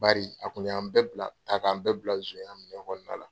Bari a kun y'an bɛɛ bila a k'an bɛɛ bila zonya minɛn kɔnɔna na.